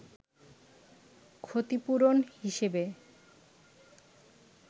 ক্ষতিপূরণ হিসেবে